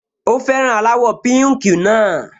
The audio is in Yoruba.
Ó fẹ́ràn aláwọ̀ píùnkì náà